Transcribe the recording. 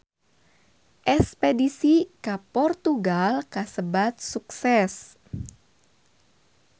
Espedisi ka Portugal kasebat sukses